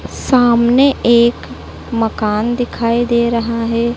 सामने एक मकान दिखाई दे रहा है।